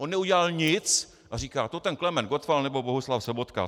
On neudělal nic a říkal - to ten Klement Gottwald nebo Bohuslav Sobotka.